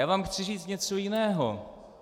Já vám chci říci něco jiného.